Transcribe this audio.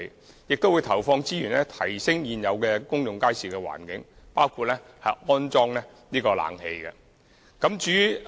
我們亦會投放資源改善現有公眾街市的環境，包括安裝空調設施。